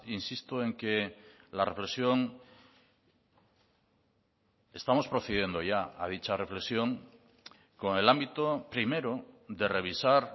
insisto en que la reflexión estamos procediendo ya a dicha reflexión con el ámbito primero de revisar